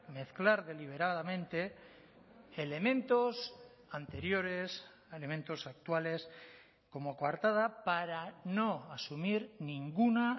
mezclar deliberadamente elementos anteriores elementos actuales como coartada para no asumir ninguna